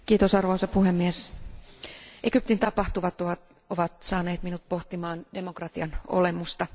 Arvoisa puhemies, Egyptin tapahtumat ovat saaneet minut pohtimaan demokratian olemusta.